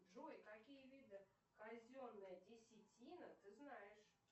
джой какие виды казенной десятины ты знаешь